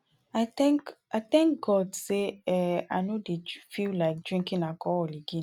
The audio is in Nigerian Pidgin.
i thank i thank god say um i no dey feel like drinking alcohol again